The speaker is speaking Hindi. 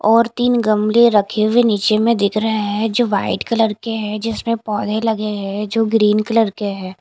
और तीन गमले रखे हुए नीचे में दिख रहे हैं जो वाइट कलर के हैं जिसमें पौधे लगे हैं जो ग्रीन कलर के हैं।